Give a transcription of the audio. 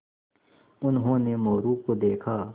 उन्होंने मोरू को देखा